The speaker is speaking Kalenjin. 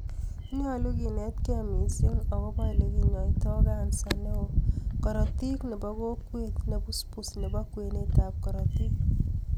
Nyolu kinetkei missing agobo ele kinyoitoi kansa beo korotik nebo kokwet nebusbus nebo kwenet ak korotik